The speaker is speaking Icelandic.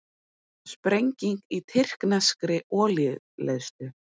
Sprenging í tyrkneskri olíuleiðslu